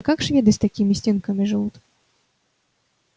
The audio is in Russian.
как шведы с такими стенками живут